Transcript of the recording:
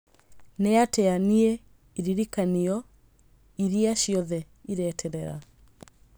Nĩatĩa nĩe iririkanio iria ciothe ireterera